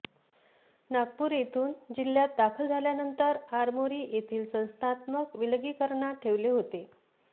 नागपूर येथून जिल्ह्यात दाखल झाल्यानंतर आरमोरी येथील संस्थात्मक विलगीकरणात ठेवले होते